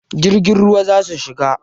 Jirgin ruwa za ku shiga?